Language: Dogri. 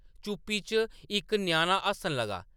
चुप्पी च इक ञ्याणा हस्सन लगा।